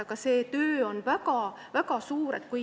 Aga see töö on väga-väga suur.